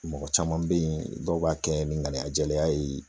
Mɔgɔ caman bɛ yen dɔw b'a kɛ ni ŋaniya jɛlenya ye